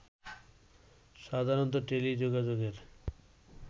সাধারণত টেলিযোগাযোগের